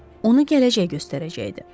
Onu gələcək göstərəcəkdi.